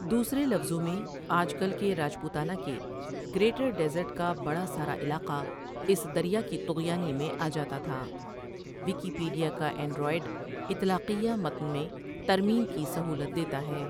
دوسرے لفظوں میں آج کل کے راجپوتانہ کے گریٹر ڈیزرٹ کا بڑا سارا علاقہ اس دریا کی طغیانی میں آ جاتا تھا ویکیپٰڈیا کا اینڈروئیڈ اطلاقیہ متن میں ترمیم کی سہولت دیتا ہے ۔